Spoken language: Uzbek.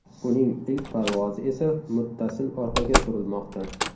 Uning ilk parvozi esa muttasil orqaga surilmoqda.